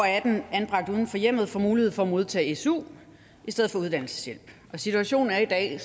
atten år anbragt uden for hjemmet får mulighed for at modtage su i stedet for uddannelseshjælp situationen er i dag